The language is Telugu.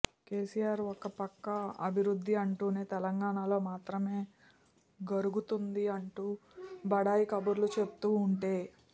కేసీఆర్ ఒకపక్క అభివృద్ధి అంటేనే తెలంగాణలో మాత్రమే గరుగుతోంది అంటూ బడాయి కబుర్లు చెప్తూ ఉంటే